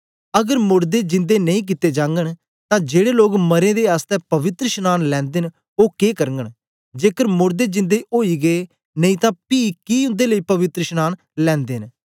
अगर मोड़दे जिंदे नेई कित्ते जागन तां जेड़े लोग मरें दें आसतै पवित्रशनांन लैंदे न ओ के करगन जेकर मोड़दे जिंदे ओदे गै नेई तां पी कि उन्दे लेई पवित्रशनांन लैंदे न